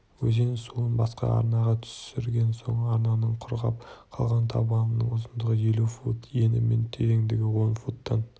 өзен суын басқа арнаға түсірген соң арнаның құрғап қалған табанынан ұзындығын елу фут ені мен тереңдігін он футтан